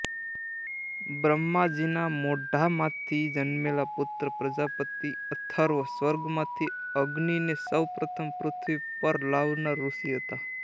બ્રહ્માજીના મોઢામાંથી જન્મેલ પુત્ર પ્રજાપતિ અથર્વ સ્વર્ગમાંથી અગ્નિને સૌ પ્રથમ પૃથ્વી પર લાવનાર ઋષિ હતા